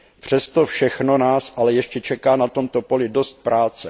Přes to všechno nás ale ještě čeká na tomto poli dost práce.